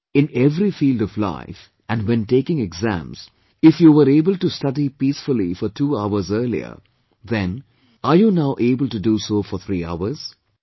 Friends, in every field of life and when taking exams, if you were able to study peacefully for two hours earlier, then are you now able to do so for three hours